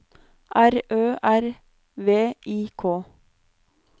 R Ø R V I K